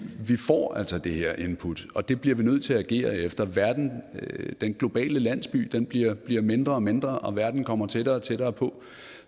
får altså det her input og det bliver vi nødt til at agere efter den globale landsby bliver bliver mindre og mindre og verden kommer tættere og tættere på